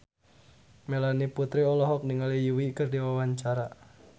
Melanie Putri olohok ningali Yui keur diwawancara